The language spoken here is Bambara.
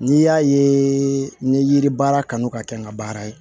N'i y'a ye ni yiri baara kanu ka kɛ n ka baara ye